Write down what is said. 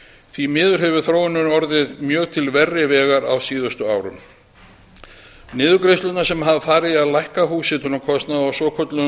því miður hefur þróunin orðið mjög til verri vegar á síðustu árum niðurgreiðslurnar sem hafa farið í að lækka húshitunarkostnaðinn á svokölluðum